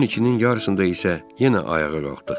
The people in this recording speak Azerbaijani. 12-nin yarısında isə yenə ayağa qalxdıq.